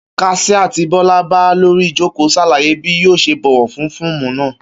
Kas̩íá tí Bó̩lá bá lórí ìjókòó s̩àlàyé bí yóò s̩e buwó̩ lu fó̩ò̩mù náà